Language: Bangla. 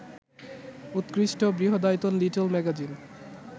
উৎকৃষ্ট, বৃহদায়তন লিটল ম্যাগাজিন